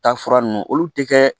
Taa fura nunnu olu te kɛ